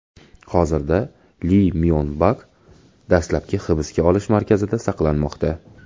Hozirda Li Myon Bak dastlabki hibsga olish markazida saqlanmoqda.